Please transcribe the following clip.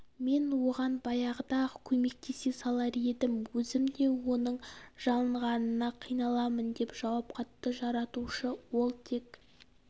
мен оған баяғыда ақ көмектесе салар едім өзім де оның жалынғанына қиналамын деп жауап қатты жаратушы ол тек